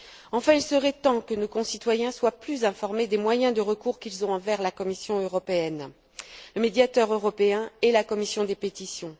Enfin, il serait temps que nos concitoyens soient davantage informés des moyens de recours qu'ils ont envers la Commission européenne, à savoir le Médiateur européen et la commission des pétitions.